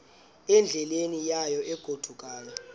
endleleni yayo egodukayo